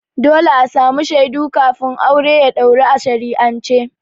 Dole a samu shaidu kafin aure ya ɗauru a shari'ance.